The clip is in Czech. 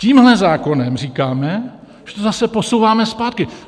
Tímhle zákonem říkáme, že to zase posouváme zpátky.